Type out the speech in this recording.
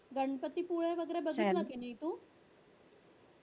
गणपतीपुळे वगैरे बघितलं कि नाही तू